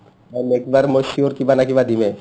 next বাৰ মই sure কিবা নহয় কিবা দিমে